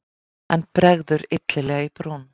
En bregður illilega í brún.